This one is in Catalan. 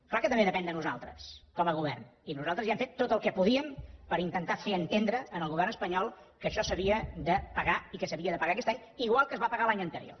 clar que també depèn de nosaltres com a govern i nosaltres ja hem fet tot el que podíem per intentar fer entendre al govern espanyol que això s’havia de pagar i que s’havia de pagar aquest any igual que es va pagar l’any anterior